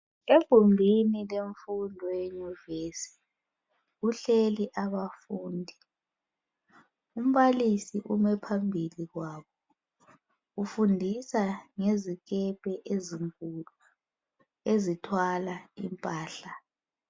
egumbini lemfundo ye nyuvesi kuhleli abafundi umbalisi ume phambili kwabo ufundisa ngezikepe ezinkulu ezithwala impahla